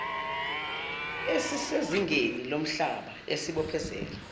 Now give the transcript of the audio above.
esisezingeni lomhlaba esibophezela